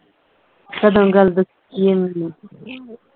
ਕਦੋਂ ਗੱਲ ਦੱਸੀ ਹੈ ਮੈਂਨੂੰ?